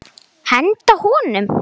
Henda honum?